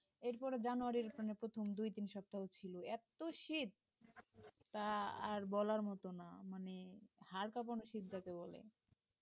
এরপরে January র মানে প্রথম দুই-তিন সপ্তাহ ছিল এত শীত তা আর বলার মত না মানে হাড় কাঁপানো শীত যাকে বলে